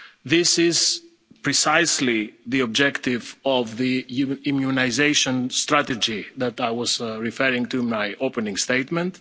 This is precisely the objective of the European immunisation strategy that I was referring to in my opening